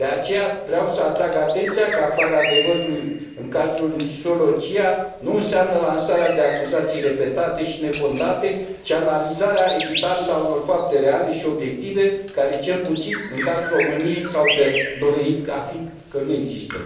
De aceea, vreau să atrag atenția că aflarea adevărului în cazul închisorilor CIA nu înseamnă lansarea de acuzații repetate și nefondate, ci analizarea echitabilă a unor fapte reale și obiective care, cel puțin în cazul României, s a dovedit că nu există.